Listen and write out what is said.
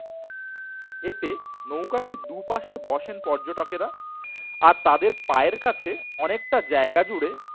এতে নৌকাটি দুপাশে বসেন পর্যটকেরা আর তাদের পায়ের কাছে অনেকটা জায়গা জুড়ে